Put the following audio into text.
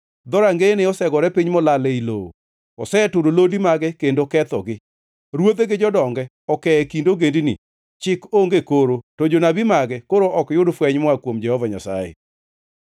Dhorangeyene osegore piny molal ei lowo, oseturo lodi mage kendo kethogi. Ruodhe gi jodonge oke e kind ogendini, chik onge koro, to jonabi mage koro ok yud fweny moa kuom Jehova Nyasaye.